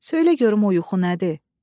Söylə görüm o yuxu nədir?